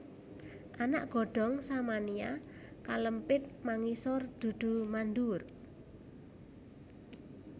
Anak godhong Samania kalempit mangisor dudu manduwur